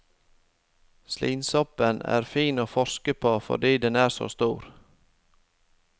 Slimsoppen er fin å forske på fordi den er så stor.